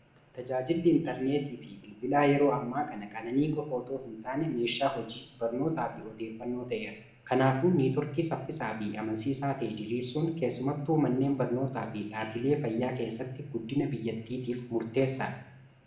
tajaajilli intarneetii fi bilbilaa yeroo ammaa kana qananii qofootoo hin taane meeshaa hojii barnootaa fi odeeffannoo ta'eera kanaafu niitorkii saffisaa fi amansiiisaa ta'e diriirsun keessumatti umanneen barnootaa fi dhaabbilee fayyaa keessatti guddina biyyattiitiif murteessaadha